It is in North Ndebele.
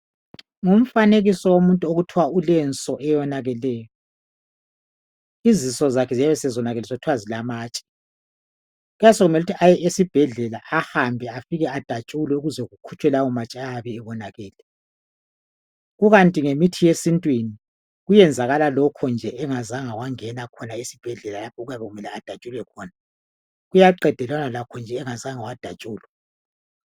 Ngumfanekiso womuntu okuthiwa ulenso ewonakeleyo. Izinso zakhe ziyabe sezonakele sokuthiwa zilamatshe .Kuyabe sokumele ukuthi aye esibhedlela ahambe afike adatshulweukuze kukhitshwe lawo matshe ayabe ebonakele .Kukanti ngemithi yesintwini .Kuyenzakala lokho nje engazange wangena esbhedlela lapho okuyabe kumele adatshulwe khona . Uyaqedelana lakho nje engazange wadatshulwa.